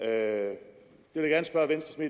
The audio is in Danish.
er